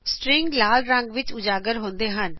string ਲਾਲ ਰੰਗ ਵਿਚ ਉਜਾਗਰ ਹੁੰਦੇ ਹਨ